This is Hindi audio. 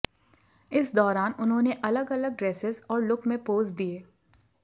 इस दौरान उन्होंने अलग अलग ड्रेसेज और लुक में पोज दिए